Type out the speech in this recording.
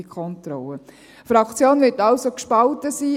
Die Fraktion wird somit gespalten sein.